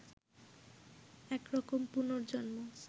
এক রকম পুনর্জন্ম